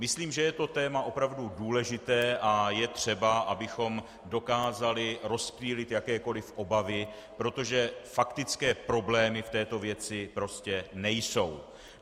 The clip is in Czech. Myslím, že je to téma opravdu důležité a je třeba, abychom dokázali rozptýlit jakékoli obavy, protože faktické problémy v této věci prostě nejsou.